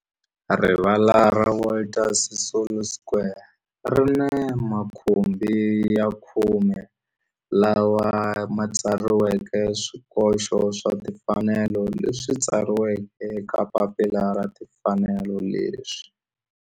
Rivala ra Walter Sisulu Square ri ni makhumbi ya khume lawa ma tsariweke swikoxo swa timfanelo leswi tsariweke eka papila ra timfanelo leswi